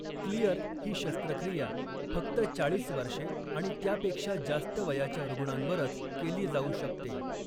Clear ही शस्त्रक्रिया फक्त चाळीस वर्षे आणि त्यापेक्षा जास्त वयाच्या रुग्णांवरच केली जाऊ शकते.